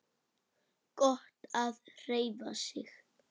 Gott að hreyfa sig.